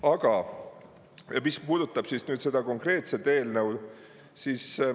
Aga mis puudutab seda konkreetset eelnõu, siis …